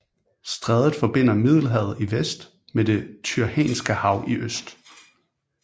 Strædet forbinder Middelhavet i vest med Det Tyrrhenske Hav i øst